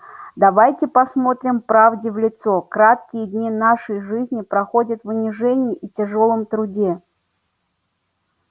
давайте посмотрим правде в лицо краткие дни нашей жизни проходят в унижении и тяжком труде